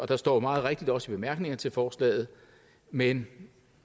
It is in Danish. der står meget rigtigt også i bemærkningerne til forslaget men